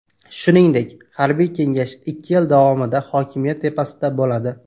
Shuningdek, harbiy kengash ikki yil davomida hokimiyat tepasida bo‘ladi.